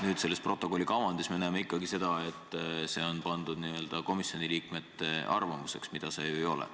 Nüüd, selles protokolli kavandis me näeme ikkagi seda, et see on pandud n-ö komisjoni liikmete arvamuseks, mida see ju ei ole.